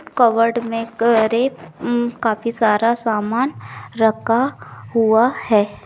Cupboard मे करीब उम काफी सारा सामान रखा हुआ है।